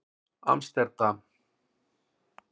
Amsterdam